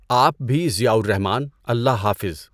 آپ بھی ضیاء الرّحمان، اللہ حافظ!